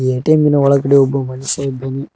ATM ಇನ ಒಳಗಡೆ ಒಬ್ಬ ಮನುಷ್ಯ ಇದ್ದಾನೆ.